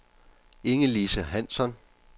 Inge-Lise Hansson